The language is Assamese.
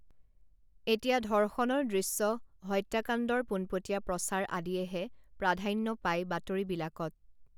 এতিয়া ধৰ্ষণৰ দৃশ্য হত্যাকাণ্ডৰ পোনপটীয়া প্ৰচাৰ আদিয়েহে প্ৰাধান্য পায় বাতৰিবিলাকত